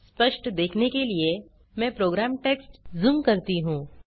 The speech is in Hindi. स्पष्ट देखने के लिए मैं प्रोग्राम टेक्स्ट जूम करती हूँ